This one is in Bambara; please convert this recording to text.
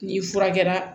N'i fura kɛra